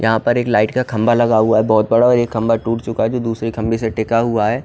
यहाँ पर एक लाईट खम्बा लगा हुआ है बहोत बड़ा और यह खम्बा टूट चूका है जो दुसरे खम्बे से टिका हुआ है।